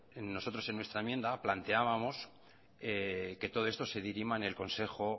nosotros en nuestra enmienda planteábamos que todo esto se dirima en el consejo